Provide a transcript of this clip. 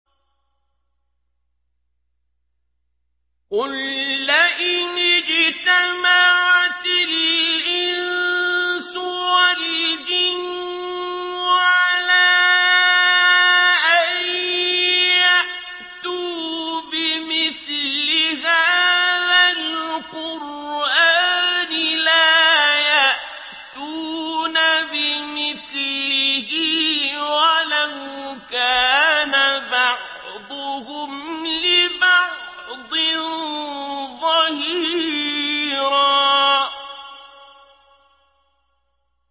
قُل لَّئِنِ اجْتَمَعَتِ الْإِنسُ وَالْجِنُّ عَلَىٰ أَن يَأْتُوا بِمِثْلِ هَٰذَا الْقُرْآنِ لَا يَأْتُونَ بِمِثْلِهِ وَلَوْ كَانَ بَعْضُهُمْ لِبَعْضٍ ظَهِيرًا